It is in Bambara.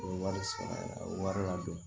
O ye wari sɛ wari la don